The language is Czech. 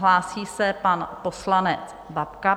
Hlásí se pan poslanec Babka.